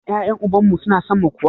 Shin ƴaƴen uban mu su na son mu kuwa?